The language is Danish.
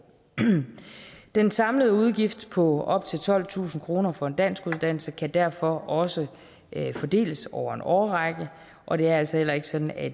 den samlede udgift på op til tolvtusind kroner for en danskuddannelse kan derfor også fordeles over en årrække og det er altså heller ikke sådan at